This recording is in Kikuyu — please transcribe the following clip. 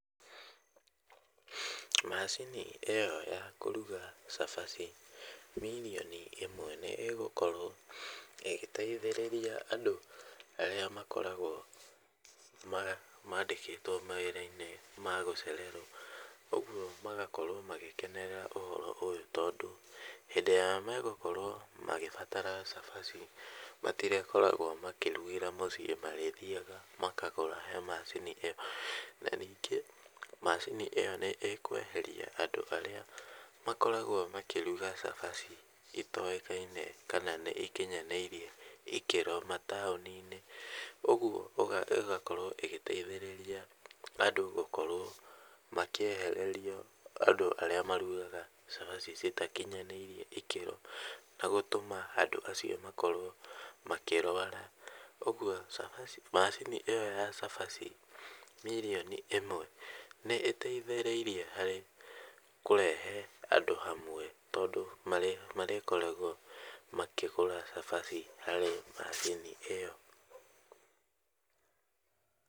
Macini ĩyo ya kũruga cabaci mirioni ĩmwe nĩ ĩgũkorwo ĩgĩteithĩrĩria andũ arĩa makoragwo maandĩkĩtwo mawĩra-inĩ ma gũcererwo. Ũguo magakorwo magĩkenerera ũhoro ũyũ tondũ hĩndĩ ĩrĩa megũkorwo makĩbatara cabaci matirĩkoragwo makĩrugĩra mũciĩ, marĩthiaga makagũra he macini ĩyo. Ningĩ macini ĩyo nĩ ĩkweheria andũ arĩa makoragwo makĩruga cabaci itoĩkaine kana nĩ irĩ ikĩro mataũni-inĩ. Ũguo ĩgakorwo ĩgĩteithĩrĩria andũ gũkorwo makĩehererio andũ arĩa marugaga cabaci itakinyanĩire ĩkĩro na gũtũma andũ acio makorwo makĩrwara. Ũguo macini ĩyo ya cabaci mirioni ĩmwe nĩ ĩteithĩrĩirie harĩ kũrehe andũ hamwe tondũ marĩkoragwo makĩgũra cabaci harĩ macini ĩyo